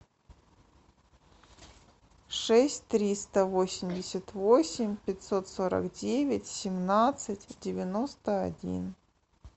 шесть триста восемьдесят восемь пятьсот сорок девять семнадцать девяносто один